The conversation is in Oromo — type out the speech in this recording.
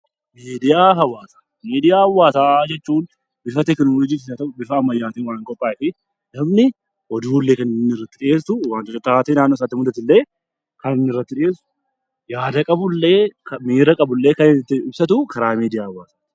Miidiyaa hawaasaa Miidiyaa hawaasaa jechuun bifa teekinooloojiis haa ta'uu bifa ammayyaatiin kan qophaa'u namni oduulee kan maddisiisu waantota taatee naannoo sanatti mul'atu kan irratti dhiheessu, kan miira qabu illee kan ittiin ibsatudha.